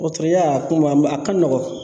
Dɔgɔtɔrɔya a ka nɔgɔn